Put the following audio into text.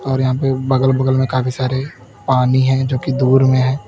और यहां पे बगल बगल में काफी सारे पानी है जो की दूर में है।